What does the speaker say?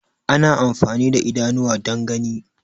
Ana amfani da idanuwa dan gani